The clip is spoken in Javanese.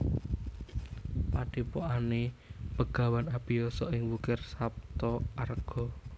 Padhepokane Begawan Abiyasa ing Wukir Saptaarga